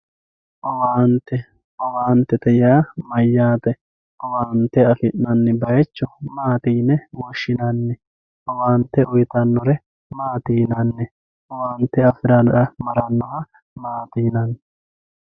owaante owaantete yaa mayyate? owaante afi'nanni bayiicho maati yine woshshinanni? owaante uyiitannore maati yinanni? owaante afirara marannoha maati yinanni?